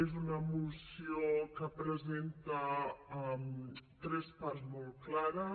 és una moció que presenta tres parts molt clares